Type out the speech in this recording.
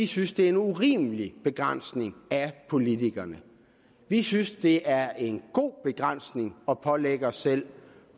synes det er en urimelig begrænsning af politikerne vi synes det er en god begrænsning at pålægge os selv